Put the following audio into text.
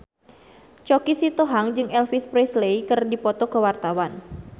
Choky Sitohang jeung Elvis Presley keur dipoto ku wartawan